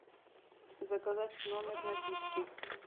заказать в номер напитки